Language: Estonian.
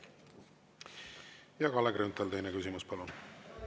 Kalle Grünthal, teine küsimus, palun!